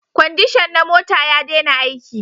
Kwandishan na mota ya dena aiki